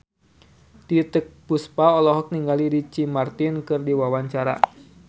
Titiek Puspa olohok ningali Ricky Martin keur diwawancara